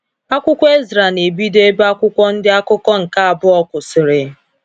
Akwụkwọ Ezra na-ebido ebe Akwụkwọ Ndị Akụkọ nke Abụọ kwụsịrị.